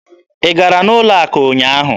Ị gara n'ụlọ akụ ụnyaahụ?